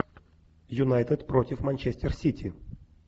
юнайтед против манчестер сити